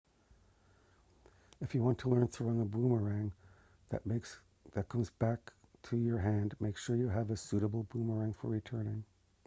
if you want to learn throwing a boomerang that comes back to your hand make sure you have a suitable boomerang for returning